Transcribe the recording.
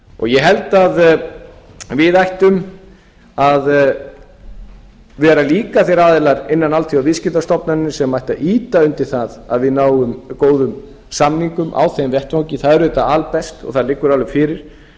ég held að við ættum að vera aðilar innan alþjóðaviðskiptastofn sem ætti að ýta undir það að við náum góðum samingum á þeim vettvangi það er auðvitað albest og það liggur alveg fyrir hins